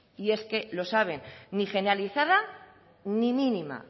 y es que lo saben ni generalizada ni mínima